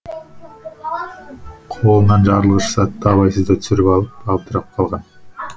қолынан жарылғыш затты абайсызда түсіріп алып абдырап қалған